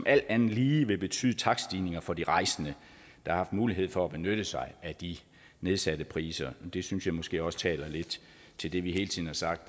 alt andet lige betyde takststigninger for de rejsende der har haft mulighed for at benytte sig af de nedsatte priser det synes jeg måske også taler lidt til det vi hele tiden har sagt